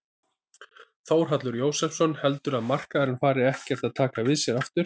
Þórhallur Jósefsson: Heldurðu að markaðurinn fari ekkert að taka við sér aftur?